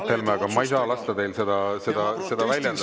Aitäh, Mart Helme, aga ma ei saa lasta teil seda praegu väljendada.